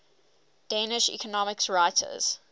danish economics writers